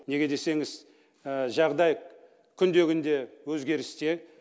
неге десеңіз жағдай күнде күнде өзгерісте